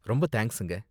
ரொம்ப தேங்க்ஸுங்க.